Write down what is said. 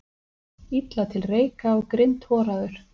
Illa til reika og grindhoraður.